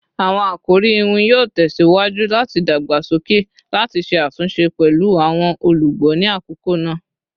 Awọn akori iwin yoo tẹsiwaju lati dagbasoke lati ṣe atunṣe pẹlu awọn olugbo ni akoko naa